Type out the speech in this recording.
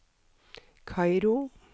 Kairo